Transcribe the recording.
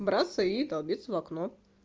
браться и долбится в окно